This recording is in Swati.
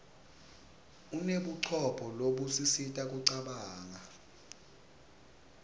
unebucopho lobusisita kucabanga